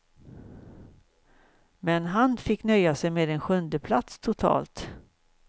Men han fick nöja sig med en sjundeplats totalt.